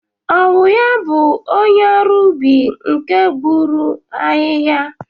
Ọ wụ ya bụ onye ọrụ ubi nke gbuturu ahịhịa?